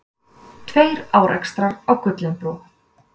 Tveir árekstrar á Gullinbrú